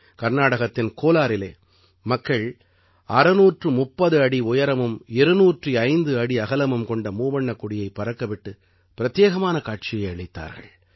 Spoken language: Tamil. கர்நாடகத்தின் கோலாரிலே மக்கள் 630 அடி உயரமும் 205 அடி அகலமும் கொண்ட மூவண்ணக் கொடியைப் பறக்கவிட்டு பிரத்யேகமான காட்சியை அளித்தார்கள்